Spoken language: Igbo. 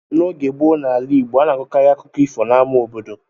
N’oge gboo n’ala Igbo, a na-akọkarị akụkọ ifo n’ama obodo.